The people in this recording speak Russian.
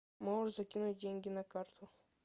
можешь закинуть деньги на карту